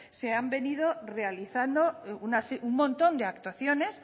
se han venido realizando un montón de actuaciones